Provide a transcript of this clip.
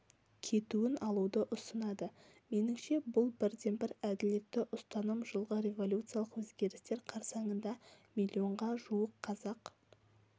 кетуін алуды ұсынады меніңше бұл бірден-бір әділетті ұстаным жылғы революциялық өзгерістер қарсаңында миллионға жуық қазақ